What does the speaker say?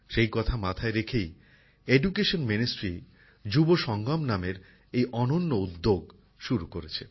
সেই কথা মাথায় রেখেই শিক্ষা মন্ত্রক যুবাসঙ্গম নামের এক অনন্য উদ্যোগ শুরু করেছে